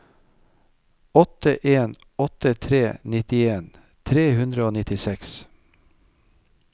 åtte en åtte tre nittien tre hundre og nittiseks